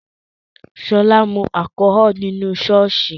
Sola mu alchol nínú ṣọ́ọ̀ṣì